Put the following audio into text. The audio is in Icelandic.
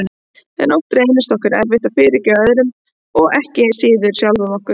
En oft reynist okkur erfitt að fyrirgefa öðrum og ekki síður sjálfum okkur.